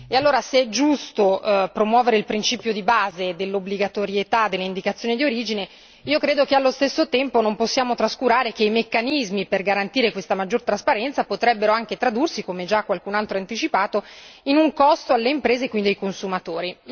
Allora, se è giusto promuovere il principio di base dell'obbligatorietà dell'indicazione di origine, io credo che allo stesso tempo non possiamo trascurare che i meccanismi per garantire questa maggiore trasparenza potrebbero anche tradursi, come già qualcun altro ha anticipato, in un costo alle imprese e quindi ai consumatori.